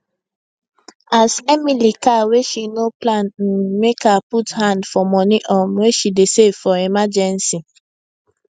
as emily car wey she no plan m make her put hand for money um wey she dey save for emergency